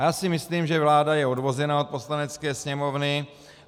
A já si myslím, že vláda je odvozena od Poslanecké sněmovny.